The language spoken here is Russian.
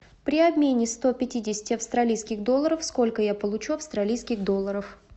при обмене сто пятидесяти австралийских долларов сколько я получу австралийских долларов